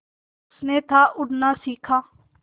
उसने था उड़ना सिखा